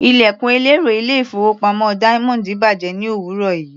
Ilẹ̀kùn ẹlẹ́rọ ilé-ìfowópamọ́ Diamond bàjẹ́ ní òwúrọ̀ yìí.